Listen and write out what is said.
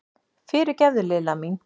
Fyrirgefðu, Lilla mín!